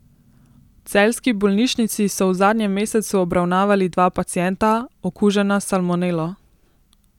V celjski bolnišnici so v zadnjem mesecu obravnavali dva pacienta, okužena s salmonelo.